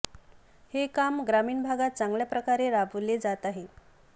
हे काम ग्रामीण भागात चांगल्या प्रकारे राबवले जात आहे